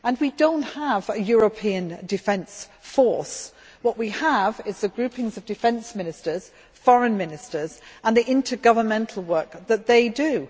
We do not have a European defence force. What we have are the groupings of defence ministers, foreign ministers and the intergovernmental work that they do.